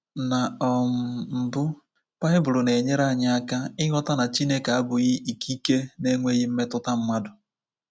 Na um mbụ, baịbụl na-enyere anyị aka ịghọta na Chineke abụghị ikike na-enweghị mmetụta mmadụ.